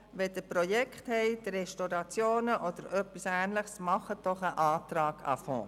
Wenn Sie Projekte haben, Restaurationen oder etwas Ähnliches, dann stellen Sie doch einen Antrag zuhanden des Fonds.